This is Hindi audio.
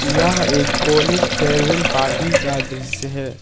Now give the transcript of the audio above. यह एक कॉलेज फेयरवेल पार्टी का दृश्य है।